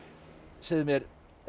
segðu mér